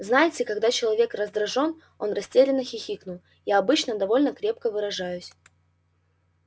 знаете когда человек раздражён он растерянно хихикнул я обычно довольно крепко выражаюсь